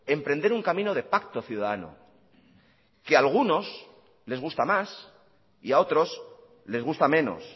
emprender un camino de pacto ciudadano que a algunos les gusta más y a otros les gusta menos